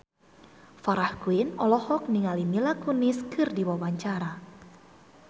Farah Quinn olohok ningali Mila Kunis keur diwawancara